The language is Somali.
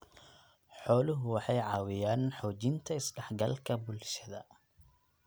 Xooluhu waxay caawiyaan xoojinta is-dhexgalka bulshada.